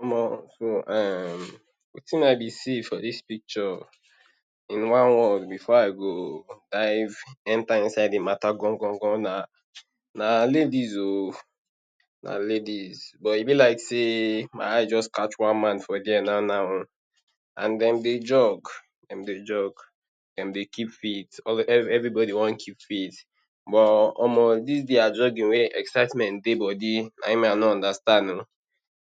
Omoh um di tin I be see for dis picture in one word before I go dive enter inside di matter gan gan gan na na ladies oh, na ladies. But e be like sey my eyes juz catch one man for there nau nau oh, an dem dey jog, dem dey jog, dem dey keep fit. Every every bodi wan keep fit. But omoh dis dia jogging wey excitement dey bodi, na ein me I no understand oh.